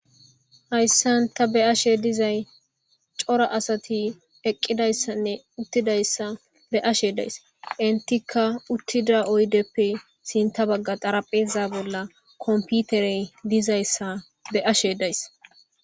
Hayssan ta be'ashe dizay cora asatti eqqidayssanne uttidayssa be'ashe de'ays. Henttika uttidda oyddeppe sinththa bagga dharaphezza bolla kompittere dizayssa be'ashe days.